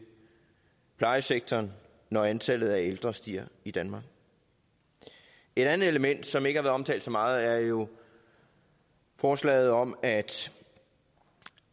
plejesektoren når antallet af ældre stiger i danmark et andet element som ikke omtalt så meget er jo forslaget om at